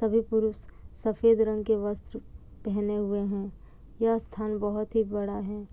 सभी पुरुष सफेद रंग के वस्त्र पहने हुए हैं। यह स्थान बहुत ही बड़ा है।